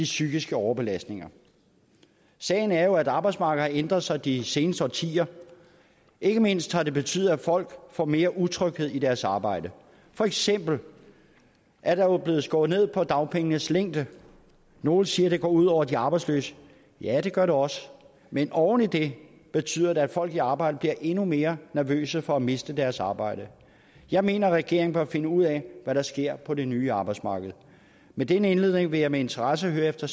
psykiske overbelastning sagen er jo at arbejdsmarkedet har ændret sig de seneste årtier ikke mindst har det betydet at folk får mere utryghed i deres arbejde for eksempel er der jo blevet skåret ned på dagpengenes længde nogle siger at det går ud over de arbejdsløse ja det gør det også men oven i det betyder det at folk i arbejde bliver endnu mere nervøse for at miste deres arbejde jeg mener at regeringen bør finde ud af hvad der sker på det nye arbejdsmarked med denne indledning vil jeg med interesse høre efter